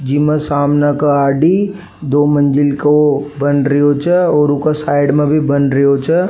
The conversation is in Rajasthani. जिमे सामने का आरडी दो मंजिल को बन रियो छे और ऊके साइड में भी बन रियो छे।